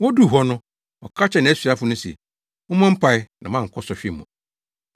Woduu hɔ no, ɔka kyerɛɛ nʼasuafo no se, “Mommɔ mpae na moankɔ sɔhwɛ mu.”